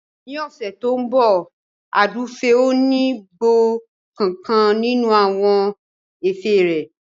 Ní ọ̀sẹ̀ tí ó ń bọ̀ Àdùfẹ̀ ò ní gbọ́ nkankan nínú àwọn ẹ̀fẹ̀ rẹ